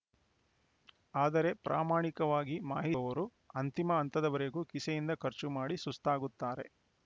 ಆದರೆ ಪ್ರಾಮಾಣಿಕವಾಗಿ ಮಾಹಿರವರು ಅಂತಿಮ ಹಂತದವರೆಗೆ ಕಿಸೆಯಿಂದ ಖರ್ಚು ಮಾಡಿ ಸುಸ್ತಾಗುತ್ತಾರೆ